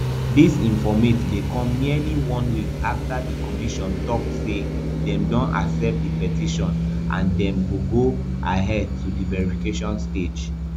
dis informate dey come nearly one week afta di commission tok say dem don accept di petition and dem go go ahead to di verification stage